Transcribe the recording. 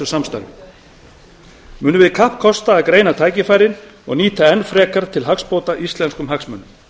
samstarfi munum við kappkosta að greina tækifærin og nýta enn frekar til hagsbóta íslenskum hagsmunum